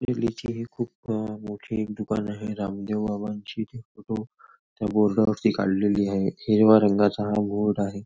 पाहिलेचे हे खूप मोठे एक दुकान आहे रामदेव बाबांची फोटो त्या बोर्ड वरती काढलेली आहे हिरव्या रंगाचा हा बोर्ड आहे.